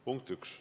Punkt üks.